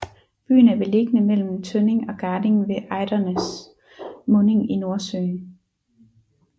Byen er beliggende mellem Tønning og Garding ved Ejderens munding i Nordsøen